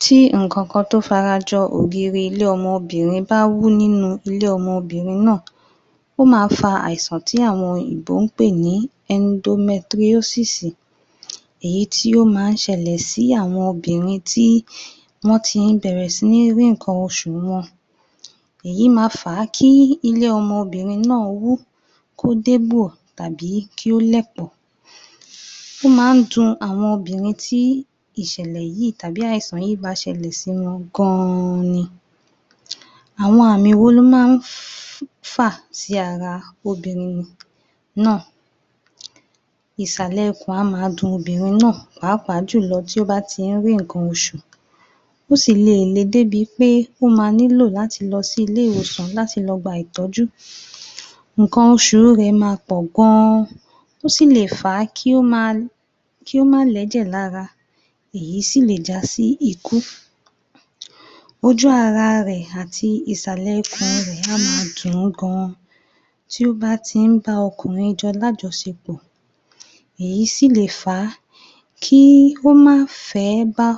Tí ǹ kankan tó fara jọ ògiri ilé-ọmọ obìnrin bá wú nínú ilé-ọmọ obìnrin náà, ó má fa àìsàn tí àwọn òyìnbó ń pè ní [endometriosis], èyí tí ó má ń ṣẹlẹ̀ sí àwọn obìnrin tí wọ́n ti bẹ̀rẹ̀ sí ní rí nǹkan oṣù wọn. Èyí ma fà á kí ilé-ọmọ obìnrin náà wú, kó dégbò, tàbí kí ó lẹ̀pọ̀. Ó máa ń dùn àwọn obìnrin tí ìṣẹ̀lẹ̀ yìí tàbí àìsàn yìí ba ṣẹlẹ̀ sí wọn gan-an ni. Àwọn àmì wo ló máa ń fà sí ara obìnrin náà? Ìsàlẹ̀ ikùn á ma dun obìnrin náà pàápàá jù lọ tí ó bá ti ń rí nǹkan oṣù. Ó sì lè le débi pé ó ma nílò láti lọ sí ilé-ìwòsan láti lọ gba ìtọ́jú. Nnkan oṣù rẹ̀ ma pọ̀ gan-an, ó sì lè fà á kí ó má lẹ́jẹ̀ lára, èyí sì lè já sí ikú. Ojú ara rẹ̀ àti Ìsàlẹ̀ ikùn rẹ̀ á ma dùn-ún gan-an tí ó bá ti ń bá ọkùnrin jọ lájọṣẹpọ̀. Èyí sì lè fa kí ó má fẹ̀ ẹ́ bá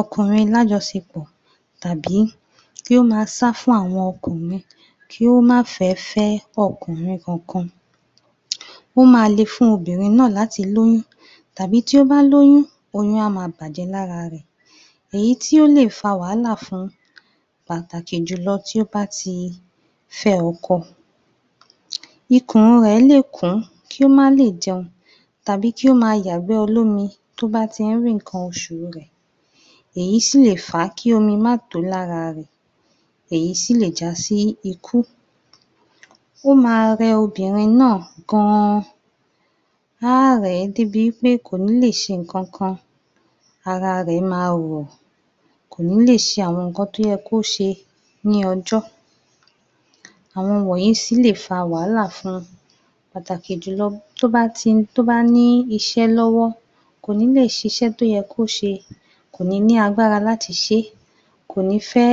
ọkùnrin lájọṣẹpọ̀ tàbí kí ó ma sá fún àwọn ọkùnrin kí ó má fẹ̀ fẹ́ ọkùnrin kankan. Ó ma le fún obìnrin náà láti lóyún tàbí tí ó bá lóyún, oyún á ma bàjẹ́ lára rẹ̀. Èyí tí ó lè fa wàhálà fún pàtàkì jù lọ tí ó bá ti fẹ́ ọkọ. Ikùn rẹ̀ lè kùn ún kí ó má lè jẹun tàbí kí ó ma yàgbẹ́ olómi tó bá ti ń rí nǹkan oṣù rẹ̀, èyí sì lè fà á kí omi ma to lára rẹ̀ èyí sì lè já sí ikú. Ó ma rẹ obìnrin náà gan-an, á rẹ̀ ẹ́ débi wí pé kò ní lè ṣe ń kankan. Ara rẹ̀ ma rò, kò ní lè ṣe àwọn nǹkan tó yẹ kó ṣe ní ọjọ́, àwọn wọ̀nyí sì lè fa wàhálà fún pàtàkì jù lọ tó bá ní iṣẹ́ lọ́wọ́, kò ní lè ṣíṣe tó yẹ kó ṣe, kò ní ní agbára láti ṣé, kò ní fẹ́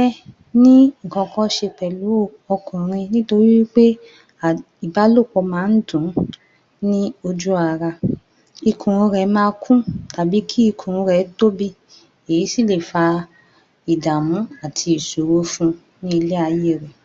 ní ń kankan ṣe pẹ̀lú ọkùnrin nítorí wí pé pé ìbálòpọ̀ máa ń dùn ún ní ojú ara. Ikùn rẹ̀ ma kún tàbí kí ikùn rẹ̀ tóbi, èyí sì lè fa ìdààmú àti ìṣòro fún ní ilẹ̀ ayé rẹ̀.